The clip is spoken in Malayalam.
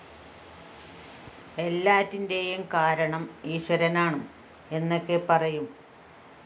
എല്ലാറ്റിന്റെയും കാരണം ഈശ്വരനാണ് എന്നൊക്കെ പറയും